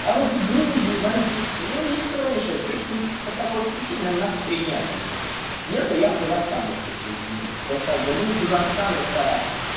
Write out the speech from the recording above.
а вот с грузией возиться ну их тронешь точно по такой же причине нам нахуй средняя азия не нужна единственное я бы казахстан бы присоединил потому что как бы ну казахстан это